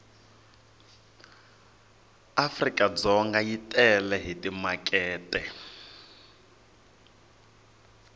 africadzonga yi tele hi timakete